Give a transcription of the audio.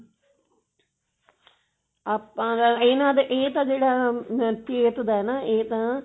ਆਪਾਂ ਤਾਂ ਇਹਨਾਂ ਦੇ ਇਹ ਤਾਂ ਜਿਹੜਾ ਦਾ ਨਾ ਇਹ ਤਾਂ